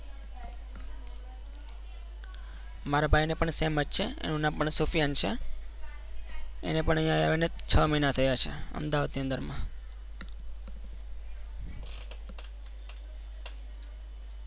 મારા ભાઈને પણ same જ છે એનું નામ પણ સુફિયાન છે. એને પણ અહીંયા આવીને છ મહિના થયા છે અમદાવાદની અંદરમાં.